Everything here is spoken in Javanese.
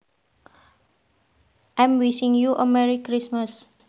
I am wishing you a merry Christmas